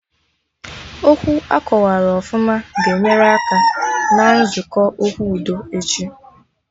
Okwu akọwarụ ọfụma ga-enyere aka na nzukọ okwu udo echi